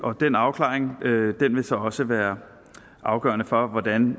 den afklaring vil så også være afgørende for hvordan